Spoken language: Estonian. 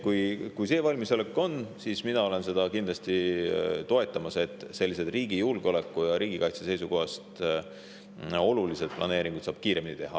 Kui see valmisolek on, siis mina toetan kindlasti seda, et sellised riigi julgeoleku ja riigikaitse seisukohast olulised planeeringud saaks kiiremini teha.